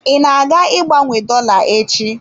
I na-aga ịgbanwe dolla echi?